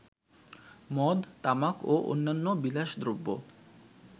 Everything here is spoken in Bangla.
মদ, তামাক ও অন্যান্য বিলাসদ্রব্য